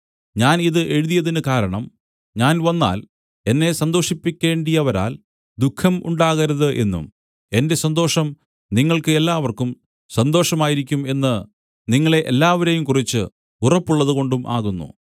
ഞാൻ ഇത് എഴുതിയതിന് കാരണം ഞാൻ വന്നാൽ എന്നെ സന്തോഷിപ്പിക്കേണ്ടിയവരാൽ ദുഃഖം ഉണ്ടാകരുത് എന്നും എന്റെ സന്തോഷം നിങ്ങൾക്ക് എല്ലാവർക്കും സന്തോഷം ആയിരിക്കും എന്ന് നിങ്ങളെ എല്ലാവരെയും കുറിച്ച് ഉറപ്പുള്ളതുകൊണ്ടും ആകുന്നു